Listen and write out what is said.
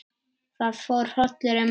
Það fór hrollur um Möggu.